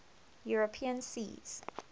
european seas